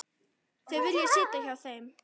Þau vilja sitja á þeim.